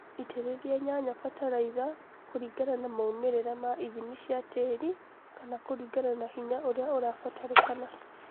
Itĩrĩlia nyanya batalaitha kũlingana na maumĩrĩla ma ithimi cia tĩri kana kũlingana na hinya ũria ũrabatalĩkana